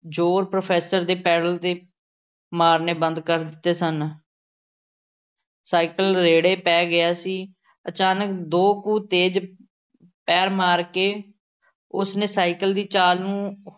ਜ਼ੋਰ professor ਦੇ pedal ਤੇ ਮਾਰਨੇ ਬੰਦ ਕਰ ਦਿੱਤੇ ਸਨ। ਸਾਈਕਲ ਰੇੜ੍ਹੇ ਪੈ ਗਿਆ ਸੀ। ਅਚਾਨਕ ਦੋ ਕੁ ਤੇਜ਼ ਪੈਰ ਮਾਰ ਕੇ ਉਸ ਨੇ ਸਾਈਕਲ ਦੀ ਚਾਲ ਨੂੰ